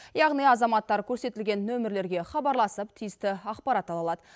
яғни азаматтар көрсетілген нөмірлерге хабарласып тиісті ақпарат ала алады